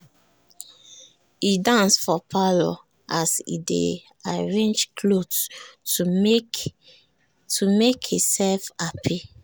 e dance for parlour as e dey arrange cloth to make e self hapi.